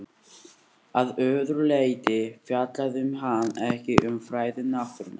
Að öðru leyti fjallaði hann ekki um fræði náttúrunnar.